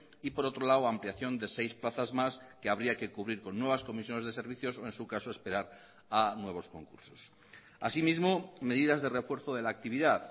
y por otro lado ampliación de seis plazas más que habría que cubrir con nuevas comisiones de servicios o en su caso esperar a nuevos concursos así mismo medidas de refuerzo de la actividad